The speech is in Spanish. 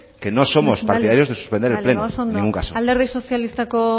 que no somos partidarios de suspender el pleno señora presidenta bale bale ba oso ondo alderdi sozialistako